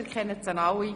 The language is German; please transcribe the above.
Sie kennen sie alle.